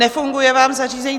Nefunguje vám zařízení?